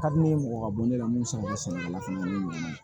Ka di ne ye mɔgɔ ka bɔ ne la mun sara